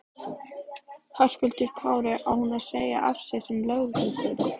Höskuldur Kári: Á hún að segja af sér sem lögreglustjóri?